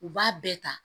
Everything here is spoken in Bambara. U b'a bɛɛ ta